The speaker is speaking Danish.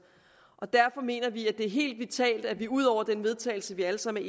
derfor mener vi at det er helt vitalt at vi ud over den vedtagelse vi alle sammen